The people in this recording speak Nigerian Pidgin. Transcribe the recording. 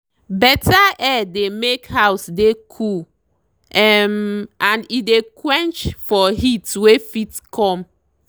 better air dey make house dey cool um and e dey quench for heat wey fit come.